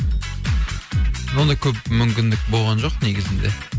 ондай көп мүмкіндік болған жоқ негізінде